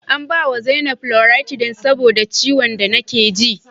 An bawa zainab loratidine saboda ciwon da nake ji